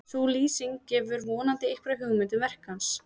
sú lýsing gefur vonandi einhverja hugmynd um verk hans